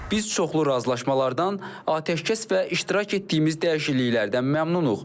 Biz çoxlu razılaşmalardan, atəşkəs və iştirak etdiyimiz dəyişikliklərdən məmnunuq.